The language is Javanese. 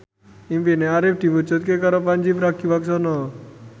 impine Arif diwujudke karo Pandji Pragiwaksono